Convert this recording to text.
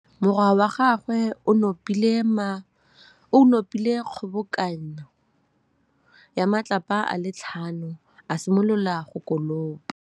Morwa wa gagwe o nopile kgobokanô ya matlapa a le tlhano, a simolola go konopa.